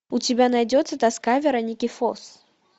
у тебя найдется тоска вероники фосс